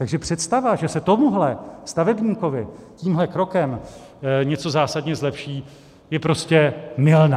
Takže představa, že se tomuhle stavebníkovi tímhle krokem něco zásadně zlepší, je prostě mylná.